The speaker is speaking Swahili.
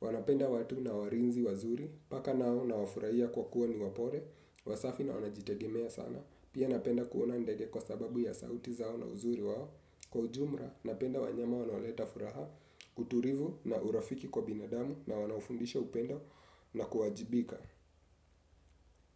wanapenda watu na walinzi wazuri, paka nao nawafurahia kwa kuwa niwapole, wasafi na wanajitegemea sana, pia napenda kuona ndege kwa sababu ya sauti zao na uzuri wao. Kwa ujumla, napenda wanyama wanaoleta furaha, utulivu na urafiki kwa binadamu na wanaofundisha upendo na kuwajibika.